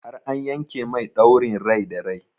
Har an yanke mai ɗaurin rai da rai?